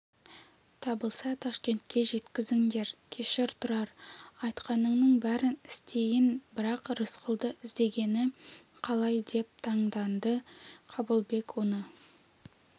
табылса ташкентке жеткізіңдер кешір тұрар айтқаныңның бәрін істейін бірақ рысқұлды іздегені қалай деп таңданды қабылбек оны